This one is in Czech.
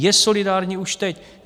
Je solidární už teď.